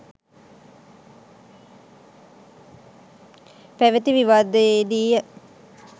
පැවති විවාදයේදීය.